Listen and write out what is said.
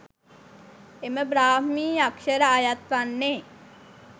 එම බ්‍රාහ්මී අක්‍ෂර අයත් වන්නේ